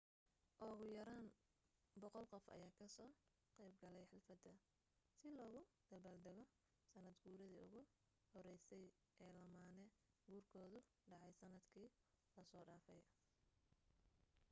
ugu yaraan 100 qof ayaa ka soo qeyb galay xaflada si loogu dabaal dago sanad guuridi ugu horeysay ee lamaane guurkoodu dhacay sanad kii laso dhafay